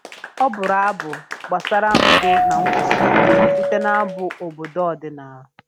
Ọ bụrụ abụ gbasara udo na nkwụsi ike site n'abụ obodo ọdịnala